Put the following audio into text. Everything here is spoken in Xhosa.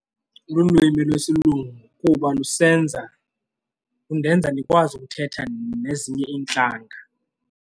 Lulwimi lesilungu kuba lusenza, lundenza ndikwazi ukuthetha nezinye iintlanga.